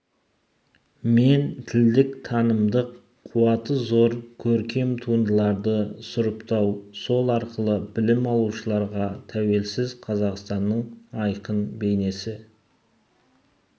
мен тілдік-танымдық қуаты зор көркем туындыларды сұрыптау сол арқылы білім алушыларға тәуелсіз қазақстанның айқын бейнесі